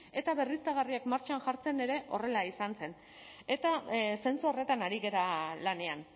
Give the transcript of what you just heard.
eta berriztagarriak martxan jartzen ere horrela izan zen eta zentzu horretan ari gara lanean